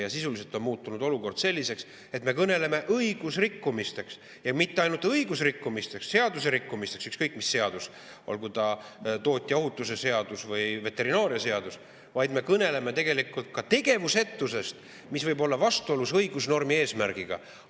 Ja sisuliselt on olukord muutunud selliseks, et me kõneleme õiguserikkumistest, ja mitte ainult õiguserikkumistest, ükskõik mis seaduse rikkumistest, olgu ta toote ohutuse seadus või veterinaarseadus, vaid me kõneleme tegelikult ka tegevusetusest, mis võib olla vastuolus õigusnormi eesmärgiga.